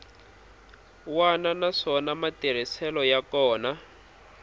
wana naswona matirhiselo ya kona